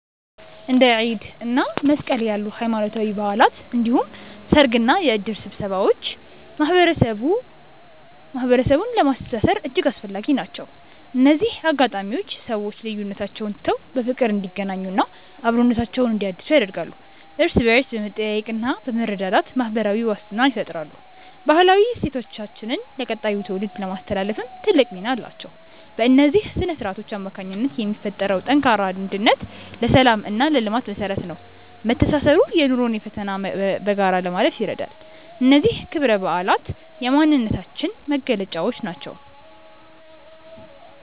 እንደ ኢድ እና መስቀል ያሉ ሃይማኖታዊ በዓላት እንዲሁም ሰርግና የእድር ስብሰባዎች ማህበረሰቡን ለማስተሳሰር እጅግ አስፈላጊ ናቸው። እነዚህ አጋጣሚዎች ሰዎች ልዩነቶቻቸውን ትተው በፍቅር እንዲገናኙና አብሮነታቸውን እንዲያድሱ ያደርጋሉ። እርስ በእርስ በመጠያየቅና በመረዳዳት ማህበራዊ ዋስትናን ይፈጥራሉ። ባህላዊ እሴቶቻችንን ለቀጣዩ ትውልድ ለማስተላለፍም ትልቅ ሚና አላቸው። በእነዚህ ስነ-ስርዓቶች አማካኝነት የሚፈጠረው ጠንካራ አንድነት ለሰላምና ለልማት መሰረት ነው። መተሳሰሩ የኑሮን ፈተና በጋራ ለማለፍ ይረዳል። እነዚህ ክብረ በዓላት የማንነታችን መገለጫዎች ናቸው።